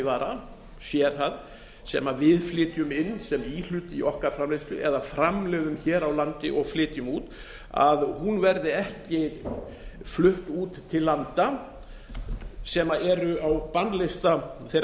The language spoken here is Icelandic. hátæknivara sé það sem við flytjum inn sem íhlut í okkar framleiðslu eða framleiðum hér á landi og flytjum út verði ekki flutt út til landa sem eru á bannlista þeirra